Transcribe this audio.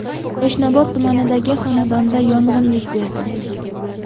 Yashnobod tumanidagi xonadonda yong‘in yuz berdi.